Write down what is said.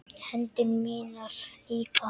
Hendur mínar líka hans.